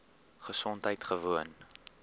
gesondheidgewoon